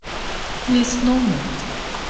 лесному